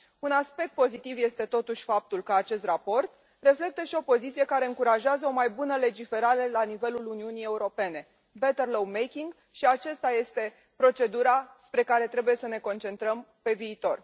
Un aspect pozitiv este, totuși, faptul că acest raport reflectă și o poziție care încurajează o mai bună legiferare la nivelul Uniunii Europene, better law making și aceasta este procedura spre care trebuie să ne concentrăm pe viitor.